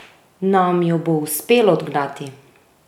Nam jo bo uspelo odgnati?